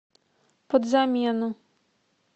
подзамену